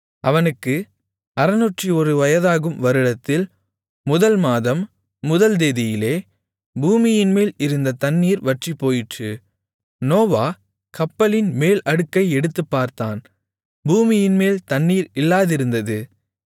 அவனுக்கு 601 வயதாகும் வருடத்தில் முதல் மாதம் முதல் தேதியிலே பூமியின்மேல் இருந்த தண்ணீர் வற்றிப்போயிற்று நோவா கப்பலின் மேல் அடுக்கை எடுத்துப்பார்த்தான் பூமியின்மேல் தண்ணீர் இல்லாதிருந்தது